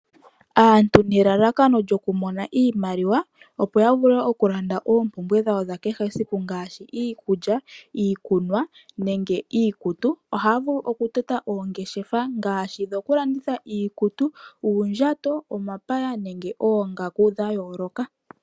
Aantu nelalakano lyoku mona iimaliwa opo ya vule oku landa oompumbwe dhawo dha kehe esiku ngashi iikulya, iikunwa nenge iikutu. Ohaya vulu oku tota oongeshefa ngashi dhoku landitha iikutu, uundjato, omapaya nenge oongaku dha yooloka.